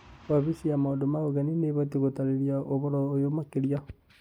Wabici ya Maũndũ ma Ũgeni, nĩ abatie gũtaarĩria ũhoro ũyũ makĩria.